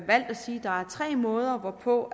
sige at der er tre måder hvorpå